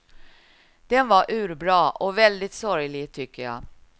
Den var urbra och väldigt sorglig tycker jag.